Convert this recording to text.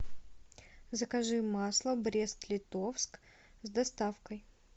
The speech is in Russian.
закажи масло брест литовск с доставкой